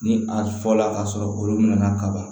Ni a fɔra k'a sɔrɔ olu nana kaba